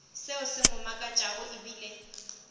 seo se mo makatšago ebile